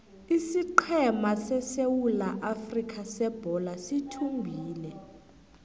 isiqhema sesewula afrika sebholo sithumbile